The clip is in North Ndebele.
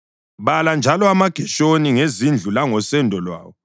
“Bala njalo amaGeshoni ngezindlu langosendo lwawo.